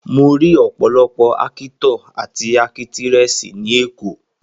Mo rí ọ̀pọ̀lọpọ̀ Ákítọ̀ àti Ákítírẹ́sì ní èkó